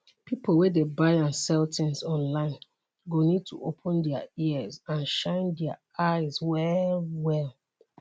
pipo wey dey buy and sell tins online go need to open dia ears and shine dia eyes wellwell